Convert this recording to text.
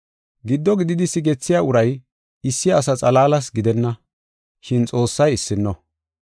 Giddo gididi sigethiya uray issi asa xalaalas gidenna, shin Xoossay issino.